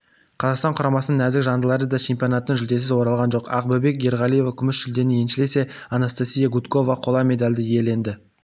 қазақстан құрамасының нәзік жандылары да чемпионаттан жүлдесіз оралған жоқ ақбөбек ерғалиева күміс жүлдені еншілесе анастасия гудкова қола медальды иеленді